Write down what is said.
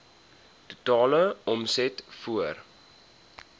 totale omset voor